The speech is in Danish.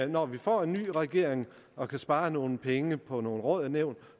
når vi får en ny regering for at spare nogle penge på nogle råd og nævn